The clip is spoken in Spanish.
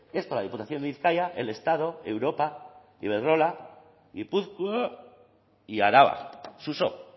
esto la diputación de bizkaia el estado europa iberdrola gipuzkoa y araba suso